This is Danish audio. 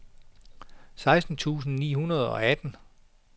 seksten tusind ni hundrede og atten